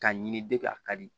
K'a ɲini de k'a ka di